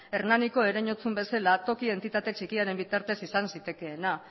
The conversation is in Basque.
hernaniko ereinotzun bezala toki entitate txikiaren bitartez izan zitekeena